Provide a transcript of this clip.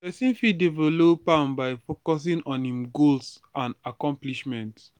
pesin fit develop am by focusing on im strengths and accomplishments.